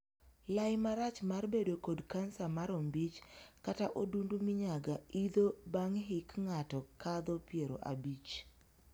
Lai marach mar bedo kod kansa mar ombich kata odundu minyaga idho bang' hik ng'ato kadho piero abich.